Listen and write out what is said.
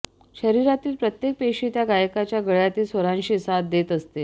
शरिरातील प्रत्येक पेशी त्या गायकाच्या गळयातील स्वरांशी साथ देत असते